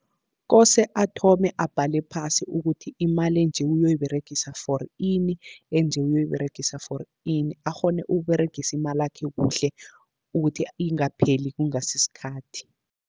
Kose athome abhale phasi ukuthi imali enje uyoyiberegisa for ini, enje uyoyiberegisa for ini. Akghone ukuberegisa imalakhe kuhle, ukuthi ingapheli kungasi sikhathi.